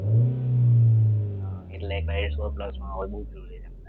હા એટલે કયો છો plus માં એ બી જોવે